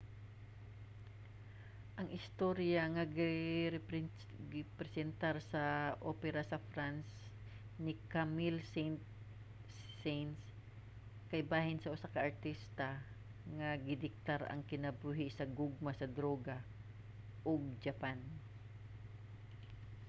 ang istorya nga gipresentar sa opera sa france ni camille saint-saens kay bahin sa usa ka artista nga gidiktar ang kinabuhi sa gugma sa droga ug japan